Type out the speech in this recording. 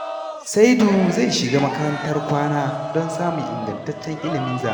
Saidu zai shiga makarantar kwana don samun ingantaccen ilimin zamani.